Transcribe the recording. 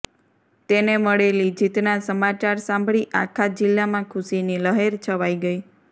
તેને મળેલી જીતના સમાચાર સાંભળી આખા જિલ્લામાં ખુશીની લહેર છવાઈ ગઈ